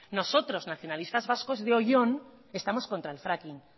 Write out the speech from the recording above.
nosotros nacionalistas vasco de oion estamos contra el fracking